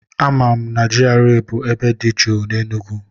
A ma na GRA bụ ebe dị jụụ n'Enugwu